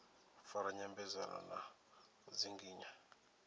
fara nyambedzano na u dzinginya